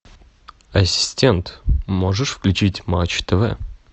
ассистент можешь включить матч тв